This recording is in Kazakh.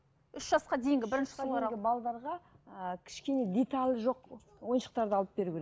үш жасқа дейінгі бірінші ыыы кішкене детальі жоқ ойыншықтарды алып беру керек